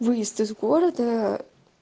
выезд из города